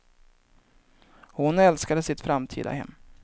Och hon älskade sitt framtida hem.